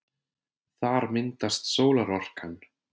Þar myndast sólarorkan.